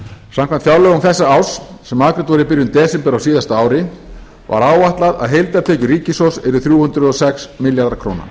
samkvæmt fjárlögum þessa árs sem afgreidd voru í byrjun desember á þessu ári var áætlað að heildartekjur ríkissjóðs yrðu þrjú hundruð og sex milljarðar króna